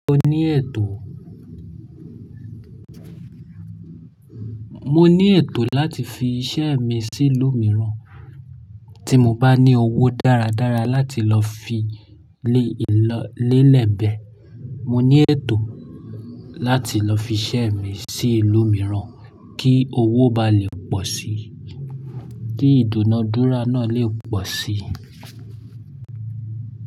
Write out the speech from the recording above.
Mo ní ètò, mo ní ètò láti fi iṣẹ́ mi sí ìlú mìíràn tí mo bá ní owó dáradára láti lọ fi lé ìlọ lélẹ̀bẹ̀. Mo ní ètò láti lọ fi iṣẹ́ mi sí ìlú mìíràn kí owó ba lè pọ̀ sí i, kí ìdúnadúrà náà lè pọ̀ sí i.